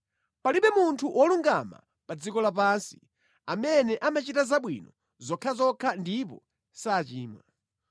Palibe munthu wolungama pa dziko lapansi amene amachita zabwino zokhazokha ndipo sachimwa.